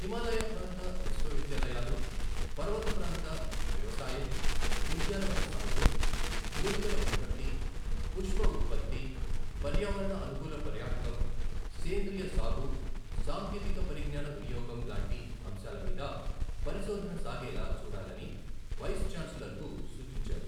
హిమాలయ ప్రాంత విశ్వవిద్యాలయాలు పర్వత ప్రాంత వ్యవసాయం, ఉద్యానవన సాగు, మూలికల ఉత్పత్తి, పుష్ప ఉత్పత్తి, పర్యావరణ అనుకూల పర్యాటకం, సేంద్రియ సాగు, సాంకేతిక పరిజ్ఞాన వినియోగం లాంటి అంశాలమీద పరిశోధన సాగేలా చూడాలని వైస్ ఛాన్సలర్కు సూచించారు.